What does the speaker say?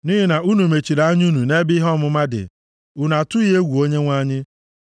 Nʼihi na unu mechiri anya unu nʼebe ihe ọmụma dị, unu atụghị egwu Onyenwe anyị.